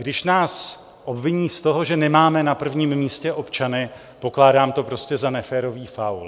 Když nás obviní z toho, že nemáme na prvním místě občany, pokládám to prostě za neférový faul.